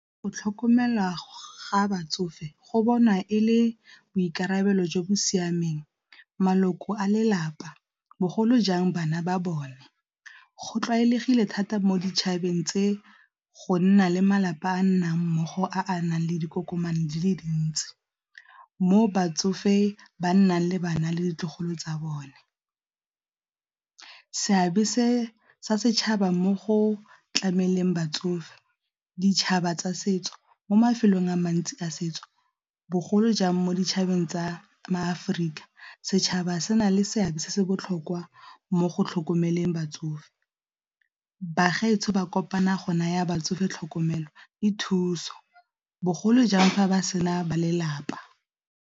Go tlhokomela ga batsofe go bonwa e le boikarabelo jo bo siameng, maloko a lelapa bogolo jang bana ba bone go tlwaelegile thata mo ditšhabeng tse go nna le malapa a nnang mmogo a a nang le dikokomane di le dintsi, mo batsofe ba nnang le bana le ditlogolo tsa bone. Seabe se se setšhaba mo go tlameleng batsofe, ditšhaba tsa setso mo mafelong a mantsi a setso bogolo jang mo ditšhabeng tsa maAforika setšhaba se na le seabe se se botlhokwa mo go tlhokomeleng batsofe. Bagaetsho ba kopana go naya batsofe tlhokomelo e thuso bogolo jang fa ba sena ba lelapa.